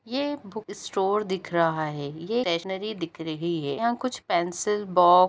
ये एक book store दिख रहा है ये स्टेशनरी दिख रही है यहाँ कुछ पेंसिल बो --